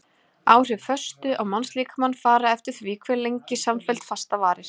Áhrif föstu á mannslíkamann fara eftir því hve lengi samfelld fasta varir.